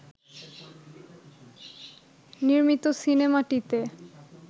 নির্মিত সিনেমাটিতে